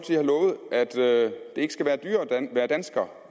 har lovet at det ikke skal være dyrere at være dansker